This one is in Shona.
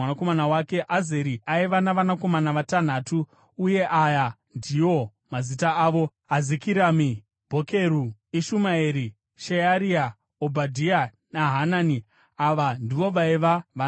Azeri aiva navanakomana vatanhatu, uye aya ndiwo mazita avo: Azirikami, Bhokeru, Ishumaeri, Sheariya, Obhadhia naHanani. Ava ndivo vaiva vana vaAzeri.